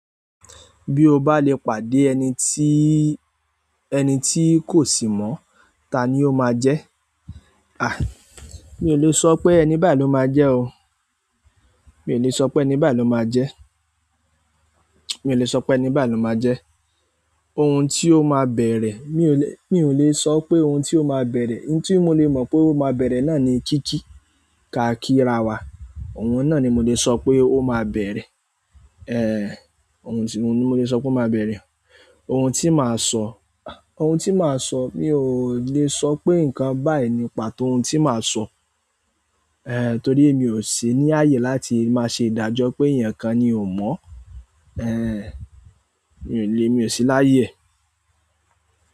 Bí o bá lè pàdé ẹni tí, ẹni tí kò sì mọ̀, ta ni o máa jẹ́? À, mi ò le sọ pé ẹni báyìí ló máa jẹ́ o. Mi ò le sọ pé ẹni báyìí ló máa jẹ́. Mi ò le sọ pé ẹni báyìí ló máa jẹ́. Ohun tí o máa bẹ̀rẹ̀, mi ò le, mi ò le sọ pé ohun tí o máa bẹ̀rẹ̀. Ohun tí mo le mọ̀ pé ó máa bẹ̀rẹ̀ náà ni kíkí, káàkiri ara wa. Ohun náà ni mo lè sọ pé ó máa bẹ̀rẹ̀. Èhè. Ohun tí, ohun ni mo lè sọ pé ó máa bẹ̀rẹ̀. Ohun tí màá sọ, ah! Ohun tí màá sọ, mi ò lè sọ pé nǹkan báyìí ní pàtó ohun tí màá sọ. Èhè, torí mi ò sí ní ààyè láti máa ṣe ìdájọ́ pé eyaǹkan ni ò mọ̀. Èhè, mi ò le, mi ò sí láyè.